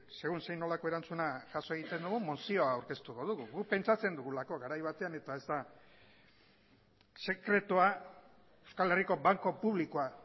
segun zein nolako erantzuna jaso egiten dugun mozioa aurkeztuko dugu guk pentsatzen dugulako garai batean eta ez da sekretua euskal herriko banku publikoa